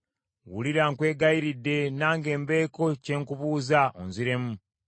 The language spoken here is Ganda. “Wulira nkwegayiridde, nange mbeeko kye nkubuuza, onziremu.